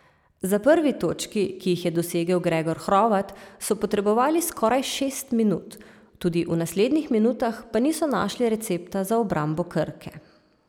Za prvi točki, ki jih je dosegel Gregor Hrovat, so potrebovali skoraj šest minut, tudi v naslednjih minutah pa niso našli recepta za obrambo Krke.